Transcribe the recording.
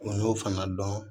U y'o fana dɔn